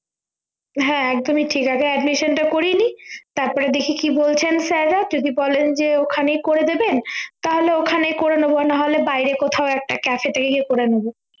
হ্যাঁ একদমই ঠিক আছে admission টা করিয়ে নিই তারপরে দেখি কি বলছেন sir রা যদি বলেন যে ওখানেই করে দেবে তাহলে ওখানে করে নেব না হলে বাইরে কোথাও একটা cafe এতে গিয়ে করে নেব